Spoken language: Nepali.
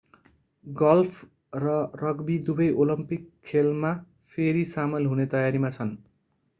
गल्फ र रग्बी दुबै ओलम्पिक खेलमा फेरि सामेल हुने तयारीमा छन्